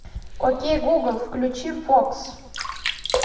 окей гугл включи фокс